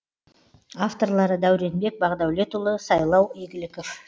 авторлары дәуренбек бақдәулетұлы сайлау игіліков